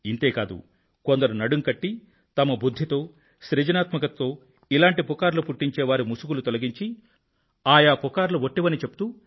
ఇంతే కాదు కొందరు నడుం కట్టి తమ బుధ్ధి తో సృజనాత్మకతతో ఇలాంటి వదంతులు పుట్టించే వారి ముసుగులు తొలగించి ఆయా వదంతులు వట్టివని చెప్తూ